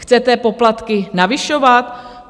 Chcete poplatky navyšovat?